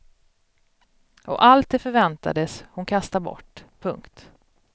Och allt det förväntades hon kasta bort. punkt